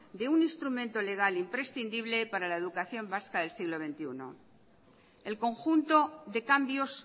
de un instrumento legal e imprescindible para la educación vasca del siglo veintiuno el conjunto de cambios